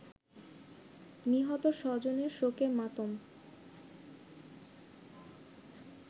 নিহত স্বজনের শোকে মাতম